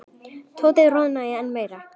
Tóti roðnaði enn meira.